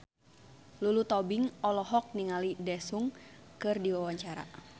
Lulu Tobing olohok ningali Daesung keur diwawancara